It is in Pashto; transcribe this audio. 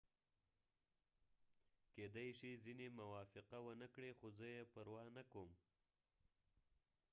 کيدې شي ځینې موافقه ونه کړي خو زه یې پروا نه کوم